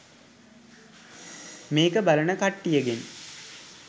මේක බලන කට්ටියගෙන්